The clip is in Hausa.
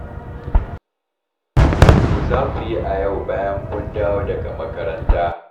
Me za ku yi a yau bayan kun dawo daga makaranta?